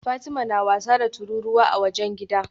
Fatima na wasa da tururuwa a wajen gidan